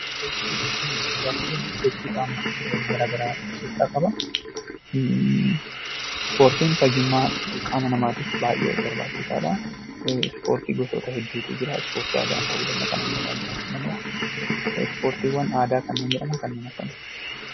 Ispoortii gaafa jennu sochii qaamaa gara garaa of keessaa qaba. Ispoortiin fayyummaa qaama namaatiif baay'ee barbaachisaadha. Ispoortii gosa hedduutu jira. Ispoortii aadaa ta'uu danda'a, kan ammayyaa jiraachuu danda'a. Ispoortiiwwan aadaa kanneen jedhaman kanneen akkamiiti?